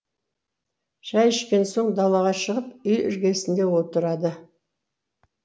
шай ішкен соң далаға шығып үй іргесінде отырады